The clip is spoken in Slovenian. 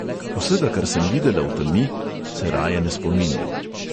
Vsega, kar sem videla v temi, se raje ne spominjam.